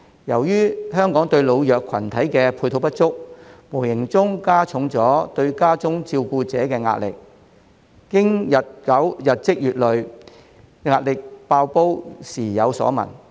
由於香港對老弱群體的配套不足，無形中加重對家中照顧者的壓力，經過日積月累，壓力"爆煲"時有所聞。